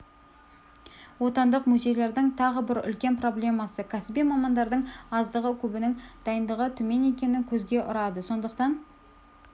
отандық музейлердің тағы бір үлкен проблемасы кәсіби мамандардың аздығы көбінің дайындығы төмен екені көзге ұрады сондықтан